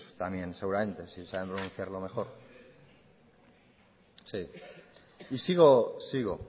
también seguramente si saben pronunciarlo mejor sí y sigo sigo